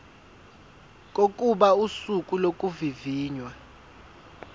kokuba usuku lokuvivinywa